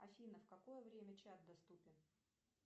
афина в какое время чат доступен